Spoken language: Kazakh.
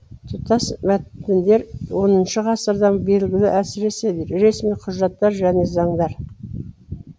тұтас мәтіндер оныншы ғасырдан белгілі әсіресе ресми құжаттар және заңдар